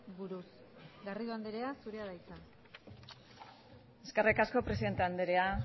buruz garrido andrea zurea da hitza eskerrik asko presidente andrea